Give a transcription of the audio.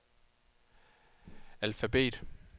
alfabet